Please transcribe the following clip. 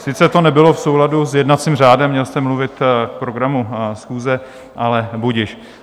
Sice to nebylo v souladu s jednacím řádem, měl jste mluvit k programu schůze, ale budiž.